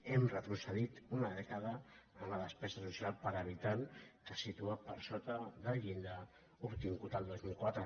hem retrocedit una dècada en la despe·sa social per habitant que es situa per sota del llindar obtingut el dos mil quatre